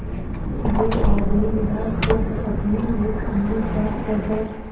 वो आदमी निराश होकर अपने एक अन्य जान पहचान